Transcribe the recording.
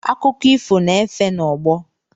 Akụkọ ifo, na-efe n'ọgbọ.